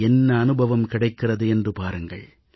என்ன அனுபவம் கிடைக்கிறது என்று பாருங்கள்